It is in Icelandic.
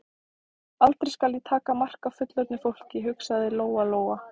Aldrei skal ég taka mark á fullorðnu fólki, hugsaði Lóa Lóa.